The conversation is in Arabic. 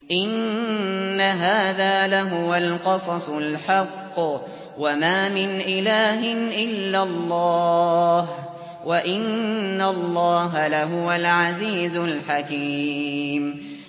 إِنَّ هَٰذَا لَهُوَ الْقَصَصُ الْحَقُّ ۚ وَمَا مِنْ إِلَٰهٍ إِلَّا اللَّهُ ۚ وَإِنَّ اللَّهَ لَهُوَ الْعَزِيزُ الْحَكِيمُ